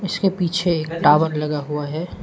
इसके पीछे एक टावर लगा हुआ है।